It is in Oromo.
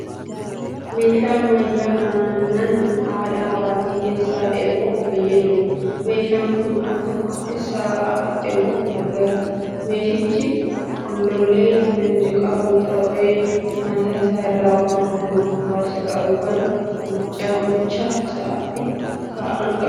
Meeshaa ammayyaa aannan haadha waatii keessaa elmuuf fayyaduudha. Meeshaan kun al tokkotti sa'a afur elmuuf gargaara. Meeshichi golollee kan qabu ta'ee mataa isaa irraa waan halluu gurraacha qabu kan mucha sa'aatti ka'aan qaba.